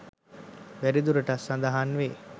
වැඩි දුරටත් සඳහන් වේ.